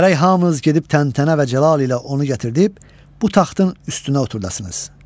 Gərək hamınız gedib təntənə və cəlal ilə onu gətirib bu taxtın üstünə oturdasınız.